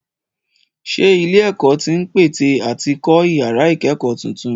Ṣé ilé-ẹ̀kọ́ tí ń pète àti kọ́ ìyàrá ìkẹ́kọ̀ọ́ tuntun?